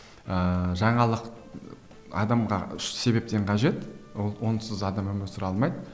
ыыы жаңалық адамға үш себептен қажет ол онсыз адам өмір сүре алмайды